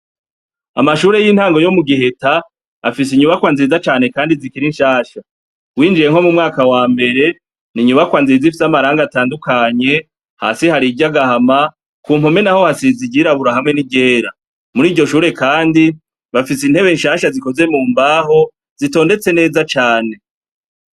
Amashure y'intango yo mu giheta, afise inyubakwa nziza cane kandi zikiri nshasha; winjiye nko mu mwaka wa mbere, ni inyubakwa nziza ifise amarangi atandukanye; hasi hari iry'agahama, ku mpome naho hasize iryirabura hamwe n'iryera. Muri iryo shure kandi bafise intebe nshasha zikozwe mu mbaho, zitondetse neza cane.